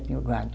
Tinha o gado.